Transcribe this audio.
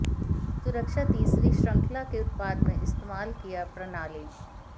सुरक्षा तीसरी श्रृंखला के उत्पाद में इस्तेमाल किया प्रणाली